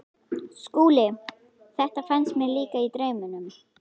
SKÚLI: Þetta fannst mér líka- í draumnum.